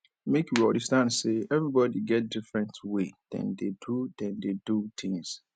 make we understand sey everybodi get different way dem dey do dem dey do tins